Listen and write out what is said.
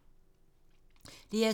DR2